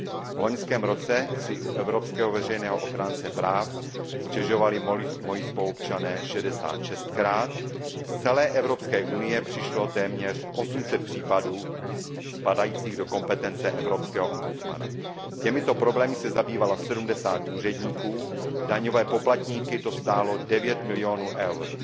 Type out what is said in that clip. V loňském roce si u evropského veřejného ochránce práv stěžovali moji spoluobčané šestašedesátkrát, z celé Evropské unie přišlo téměř 800 případů spadajících do kompetence evropského ombudsmana. Těmito problémy se zabývalo 70 úředníků, daňové poplatníky to stálo 9 milionů eur.